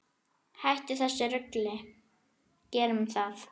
Hættum þessu rugli, gerum það!